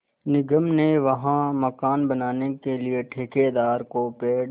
निगम ने वहाँ मकान बनाने के लिए ठेकेदार को पेड़